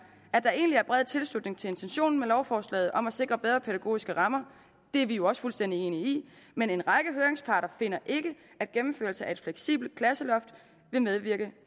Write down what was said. at der egentlig er bred tilslutning til intentionen i lovforslaget om at sikre bedre pædagogiske rammer det er vi jo også fuldstændig enige i men en række høringsparter finder ikke at gennemførelsen af et fleksibelt klasseloft vil medvirke